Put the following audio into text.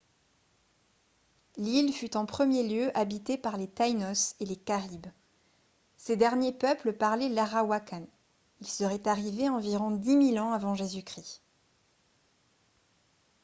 l’île fut en premier lieu habitée par les taínos et les caribes. ces dernier peuple parlait l'arawakan ; il serait arrivé environ dix mille ans av. j.-c